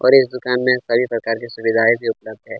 और इस दुकान में सभी प्रकार के सुविधाए भी उपलब्ध है।